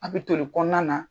A be toli kɔɔna na.